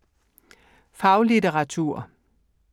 Faglitteratur